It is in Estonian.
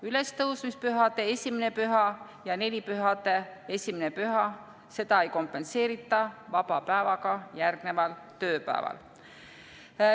Ülestõusmispühade esimest püha ja nelipühade esimest püha ei kompenseerita vaba päevaga järgneval tööpäeval.